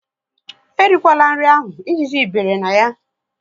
E rikwala nri ahụ! Ejiji bere na ya